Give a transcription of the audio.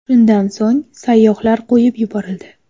Shundan so‘ng sayyohlar qo‘yib yuborildi.